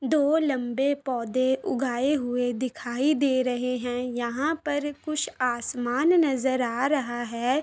दो लम्बे पौधे उगाये हुए दिखाई दे रहे हैं यहाँ पर कुछ आसमान नजर आ रहा है।